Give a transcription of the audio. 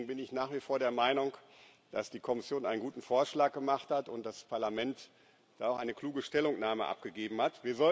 Deswegen bin ich nach wie vor der Meinung, dass die Kommission einen guten Vorschlag gemacht hat und das Parlament dazu auch eine kluge Stellungnahme abgegeben hat.